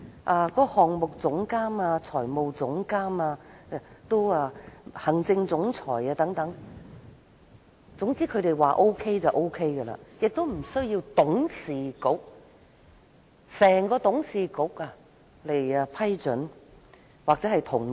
至於項目總監、財務總監和行政總裁等人選，也是他們說了算，無須經董事局批准或同意。